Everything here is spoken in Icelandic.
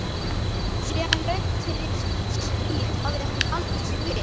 Síðan löngu fyrir stríð hafði hann haldið sig við